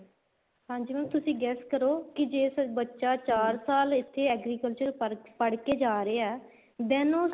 ਹਾਂਜੀ mam ਤੁਸੀਂ guess ਕਰੋ ਜ਼ੇ ਬੱਚਾ ਚਾਰ ਸਾਲ ਇੱਥੇ agriculture ਪੜ੍ਹਕੇ ਜਾ ਰਿਹਾ ਹੈ then ਉਹ